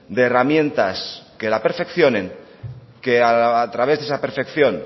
de herramientas que la perfeccionen que a través de esa perfección